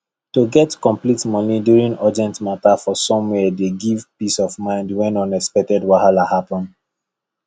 to get complete money during urgent matter for somwhere dey give peace of mind when unexpected wahala happen